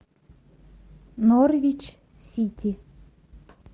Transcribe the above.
норвич сити